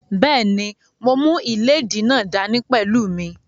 Bẹ́ẹ̀ni, mo mú ìléèdí náà dá ní pẹ̀lú mí